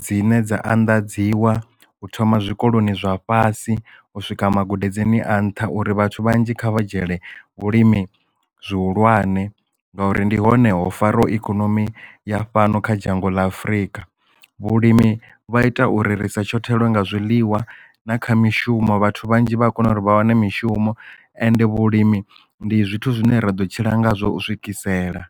dzine dza anḓadziwa u thoma zwikoloni zwa fhasi u swika magudedzini a nṱha uri vhathu vhanzhi kha vha dzhiele vhulimi zwihulwane ngauri ndi hone ho faraho ikonomi ya fhano kha dzhango la afurika vhulimi vha ita uri risa shotheliwe nga zwiḽiwa na kha mishumo vhathu vhanzhi vha a kona uri vha wane mishumo ende vhulimi ndi zwithu zwine ra ḓo tshila nga zwo u swikisela.